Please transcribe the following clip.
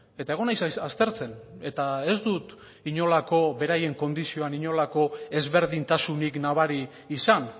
eta egon naiz aztertzen eta ez dut inolako beraien kondizioan inolako ezberdintasunik nabari izan